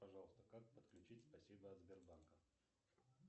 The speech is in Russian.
пожалуйста как подключить спасибо от сбербанка